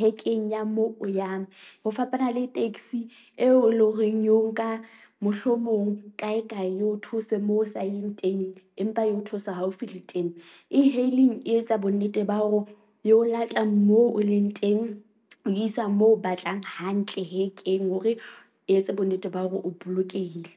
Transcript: hekeng ya moo o yang ho fapana le taxi eo e leng horeng eo nka mohlomong kae kae eo those moo o sa eng teng. Empa eo theosa haufi le teng. E-hailing e etsa bonnete ba hore e o lata moo o leng teng, isa moo o batlang hantle hekeng, hore e etse bonnete ba hore o bolokehile.